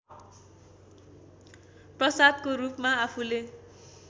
प्रसादको रूपमा आफूले